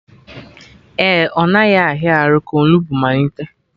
Ee, ọ naghị ahịa arụ ka onugbu malite